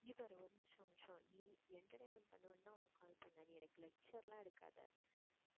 இங்க பாரு ஒரு நிமிஷம் ஒரு நிமிஷம் நீ entertainment பண்ணுவேன் தான் உனக்கு call பண்ணேன் நீ எனக்கு lecture ல எடுக்காதே